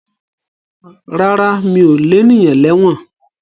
Rárá mi ò lénìyàn lẹ́wọ̀n